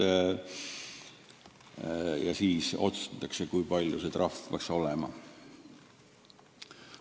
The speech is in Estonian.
Selle järgi otsustatakse, kui suur trahv peaks olema.